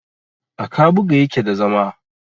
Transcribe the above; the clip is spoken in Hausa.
a kabuga yake da zama